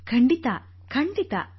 ಖಂಡಿತಾ ಖಂಡಿತಾ